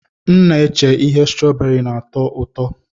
M na-eche ihe strooberi na-atọ ụtọ.